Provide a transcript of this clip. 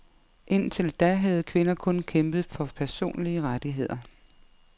Indtil da havde kvinder kun kæmpet for personlige rettigheder.